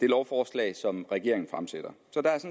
lovforslag som regeringen fremsætter